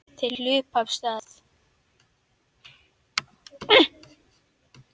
Þeir hlupu af stað.